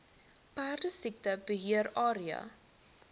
perdesiekte beheer area